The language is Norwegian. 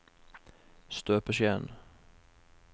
støpeskjeen